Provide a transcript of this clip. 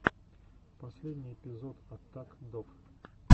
последний эпизод аттак дог